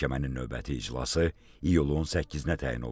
Məhkəmənin növbəti iclası iyulun 8-nə təyin olundu.